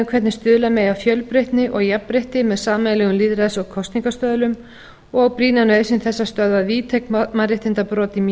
hvernig stuðla megi að fjölbreytni og jafnrétti með sameiginlegum lýðræðis og kosningastöðlum og brýna nauðsyn þess að stöðva víðtæk mannréttindabrot í